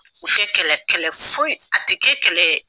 U fɛ kɛlɛ kɛlɛ foyi, a tɛ kɛ kɛlɛ ye.